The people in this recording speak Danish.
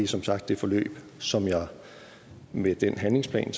som sagt det forløb som jeg med den handlingsplan